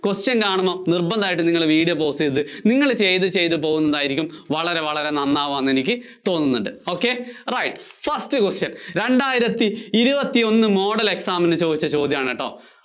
question കാണുമ്പോ നിര്‍ബന്ധമായിട്ടും നിങ്ങള് video pause ചെയ്ത്. നിങ്ങള് ചെയ്ത് ചെയ്ത് പോകുന്നതായിരിക്കും വളരെ, വളരെ നന്നാവാന്ന് എനിക്ക് തോന്നുന്നത്. ok right. first question രണ്ടായിരത്തി ഇരുപത്തിയൊന്നു model exam നു ചോദിച്ച ചോദ്യാണുട്ടോ